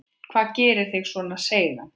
Hvað gerir þig svona seigan?